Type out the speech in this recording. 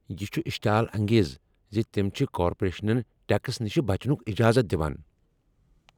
یہ چھ اشتعال انگیز ز تم چھ كارپوریشنن ٹیکس نش بچنُک اجازت دوان۔